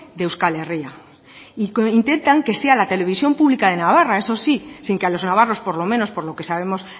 de euskal herria y que intentan que sea la televisión pública de navarra eso sí sin que a los navarros por lo menos por lo que sabemos